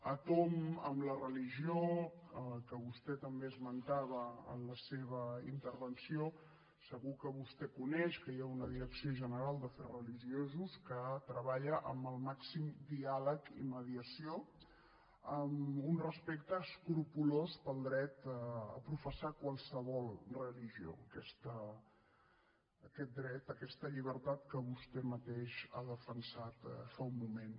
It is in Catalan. a tomb amb la religió que vostè també esmentava en la seva intervenció segur que vostè coneix que hi ha una direcció general d’afers religiosos que treballa amb el màxim diàleg i mediació amb un respecte escrupolós pel dret a professar qualsevol religió aquest dret aquesta llibertat que vostè mateix ha defensat fa un moment